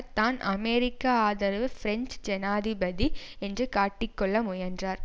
தான் அமெரிக்க ஆதரவு பிரஞ்சு ஜனாதிபதி என்று காட்டிக்கொள்ள முயன்றார்